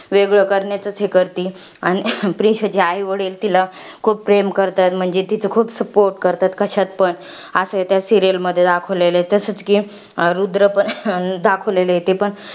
वेगळं करण्याचाच हे करती. आणि प्रीशा ची आईवडील तिला खूप प्रेम करतात. म्हणजे, तिचा खूप support करतात. कशात पण. असं त्या serial मध्ये दाखवलेलं आहे. तसच कि, रुद्र पण दाखवलेलं आहे, ते पण.